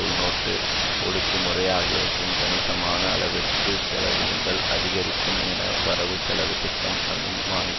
உள்நாட்டு ஒடுக்குமுறை ஆகியவற்றிற்கு கணிசமான அளவிற்கு செலவினங்கள் அகிதரிக்கும் என வரவுசெலவுதிட்டம் அனுமானிக்